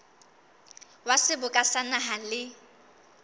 wa seboka sa naha le